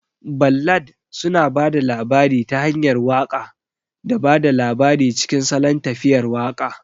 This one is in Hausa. Ballad suna ba da labari ta hanyar waƙa da ba da labari cikin salon tafiyar waƙa.